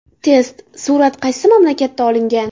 Test: Surat qaysi mamlakatda olingan?.